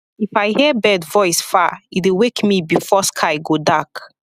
if i hear bird voice far e dey wake me before sky go dark